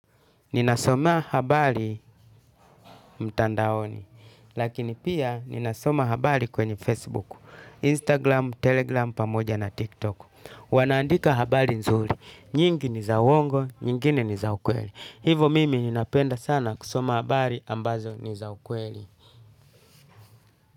Ninasoma habari mtandaoni, lakini pia ninasoma habari kwenye Facebook, Instagram, Telegram, pamoja na TikTok. Wanaandika habari nzuri, nyingi ni za uongo, nyingine ni za ukweli. Hivo mimi ninapenda sana kusoma habari ambazo ni za ukweli.